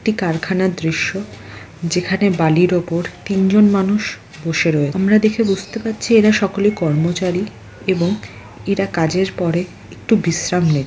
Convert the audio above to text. একটি কারখানা দৃশ্য যেখানে বালির ওপর তিনজন মানুষ বসে রয়ে-- আমরা দেখে বুঝতে পারছি এরা সকলে কর্মচারী এবং এরা কাজের পরে একটু বিশ্রাম নেয়